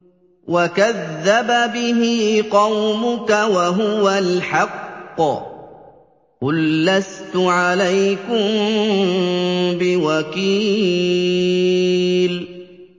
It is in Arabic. وَكَذَّبَ بِهِ قَوْمُكَ وَهُوَ الْحَقُّ ۚ قُل لَّسْتُ عَلَيْكُم بِوَكِيلٍ